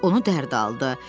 Onu dərd aldı.